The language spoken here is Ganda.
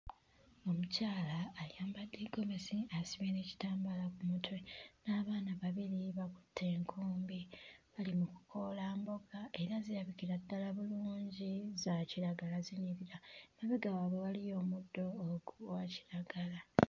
Omukyala ayambadde ggomesi asibye n'ekitambaala ku mutwe n'abaana babiri bakutte enkumbi bali mu kukoola mboga era zirabikira ddala bulungi za kiragala zinyirira mabega waabwe waliyo omuddo ogwa kiragala.